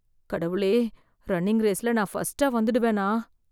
கடவுளே, ரன்னிங் ரேஸ்ல நான் ஃபர்ஸ்ட்டா வந்துடுவனா?